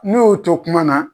N'o y'o to kuma na.